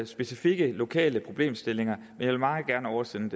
specifikke lokale problemstillinger men jeg vil meget gerne oversende